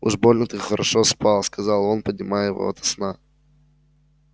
уж больно ты хорошо спал сказал он поднимая его ото сна